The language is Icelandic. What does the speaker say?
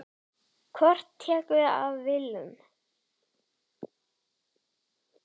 En hver tekur við af Willum?